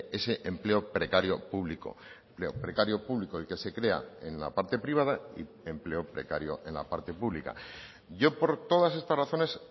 ese empleo precario público precario público el que se crea en la parte privada y empleo precario en la parte pública yo por todas estas razones